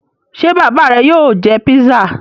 Ṣé bàbá rẹ yóò jẹ pizza?